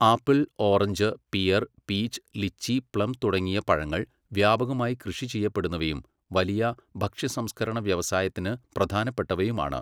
Apple, orange, pear, peach, lychee, plum തുടങ്ങിയ പഴങ്ങൾ വ്യാപകമായി കൃഷി ചെയ്യപ്പെടുന്നവയും വലിയ ഭക്ഷ്യസംസ്കരണ വ്യവസായത്തിന് പ്രധാനപ്പെട്ടവയുമാണ്.